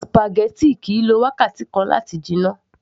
spaghetti kìí lo wákàtí kan láti jiná